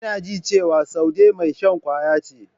Ina jin cewa Saude mai shan kwaya ce.